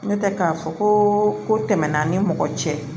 N'o tɛ k'a fɔ ko ko tɛmɛna an ni mɔgɔ cɛ